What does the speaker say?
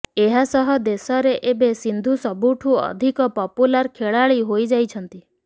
ଏହାସହ ଦେଶରେ ଏବେ ସିନ୍ଧୁ ସବୁଠୁ ଅଧିକ ପପୁଲାର ଖେଳାଳି ହୋଇଯାଇଛନ୍ତି